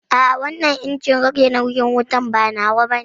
A'a wannan injin rage nauyin wutan ba nawa bane